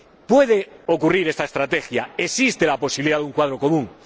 Puede haber una estrategia, existe la posibilidad de un cuadro común.